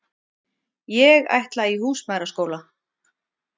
Ég ætla í húsmæðraskóla.